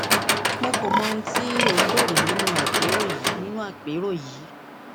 mo kò mọ ohun tí o ń béèrè nínú àpérò yìí nínú àpérò yìí